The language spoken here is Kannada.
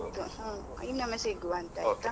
ಹ್ಮ್, ಇನ್ನೊಮ್ಮೆ ಸಿಗುವ ಅಂತ ಆಯ್ತಾ?